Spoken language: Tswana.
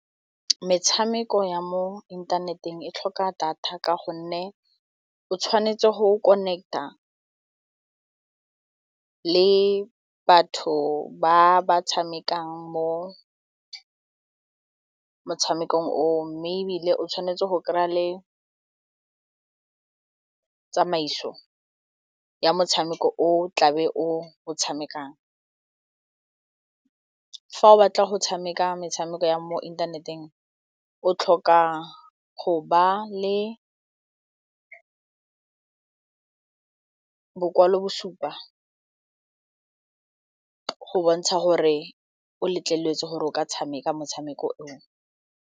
Metshameko ya mo inthaneteng e tlhoka data ka gonne o tshwanetse go connect-a le batho ba ba tshamekang mo motshameko oo mme ebile o tshwanetse go kry-a le tsamaiso ya motshameko o tlabe o tshamekang. Fa o batla go tshameka metshameko ya mo inthaneteng o tlhoka go ba le bokwalo bo supa go bontsha gore o letleletswe gore o ka tshameka motshameko o.